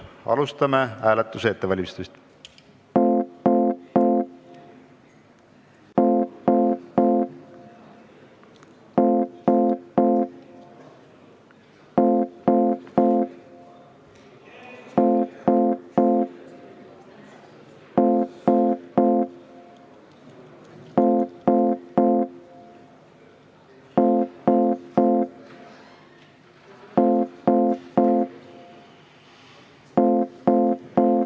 Alustame selle ettevalmistamist.